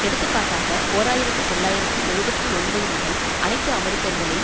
எடுத்துக்காட்டாக ஓர் ஆயிரத்தி தொள்ளாயிரத்து எழுபத்து ஒன்பது முதல் அனைத்து அமெரிக்கர்களில்